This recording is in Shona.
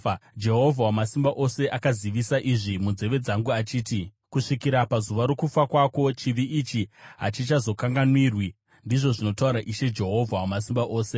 Jehovha Wamasimba Ose akazivisa izvi munzeve dzangu achiti, “Kusvikira pazuva rokufa kwako, chivi ichi hachizokanganwirwi,” ndizvo zvinotaura Ishe, Jehovha Wamasimba Ose.